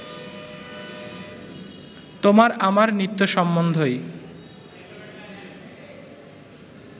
তোমার আমার নিত্য সম্বন্ধই